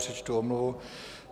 Přečtu omluvu.